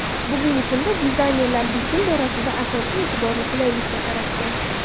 Bugungi kunda dizaynerlar bichim borasida asosiy e’tiborni qulaylikka qaratgan.